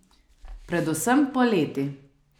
Predvsem poleti.